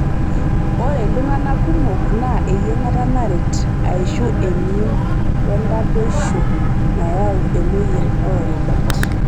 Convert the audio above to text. Ore iltungana kumok naa eyiangata naret aishu emion wentarrdoisho nayau emoyian oorubat.